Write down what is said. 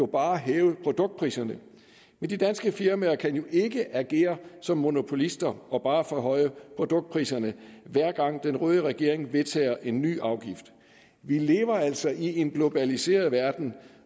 bare hæve produktpriserne men de danske firmaer kan jo ikke agere som monopolister og bare forhøje produktpriserne hver gang den røde regering vedtager en ny afgift vi lever altså i en globaliseret verden